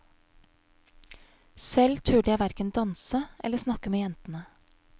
Selv turde jeg hverken danse eller snakke med jentene.